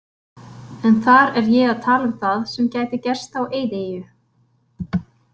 En þar er ég að tala um það sem gæti gerst á eyðieyju.